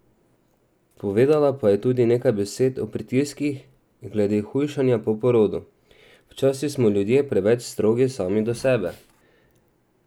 Povedala pa je tudi nekaj besed o pritiskih glede hujšanja po porodu: "Včasih smo ljudje preveč strogi sami do sebe.